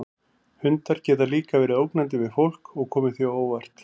Hundar geta líka verið ógnandi við fólk og komið því á óvart.